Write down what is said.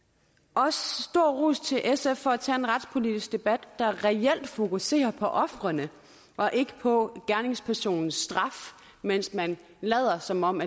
også stor ros til sf for at tage en retspolitisk debat der reelt fokuserer på ofrene og ikke på gerningspersonens straf mens man lader som om